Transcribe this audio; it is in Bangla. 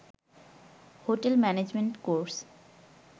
hotel management course